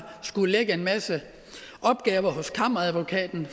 skullet lægge en masse opgaver hos kammeradvokaten